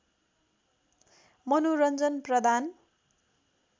मनोरञ्जन प्रदान